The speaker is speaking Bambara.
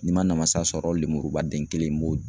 N'i ma namasa sɔrɔ, lemuruba den kelen b'o dun